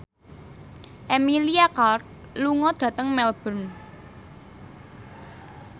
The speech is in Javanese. Emilia Clarke lunga dhateng Melbourne